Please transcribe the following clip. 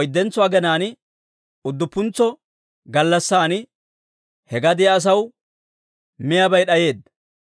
oyddentso aginaan, udduppuntsa gallassan he gadiyaa asaw miyaabay d'ayeedda.